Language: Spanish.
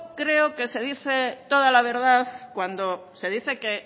creo que se dice toda la verdad cuando se dice que